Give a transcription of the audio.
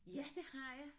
Ja det har jeg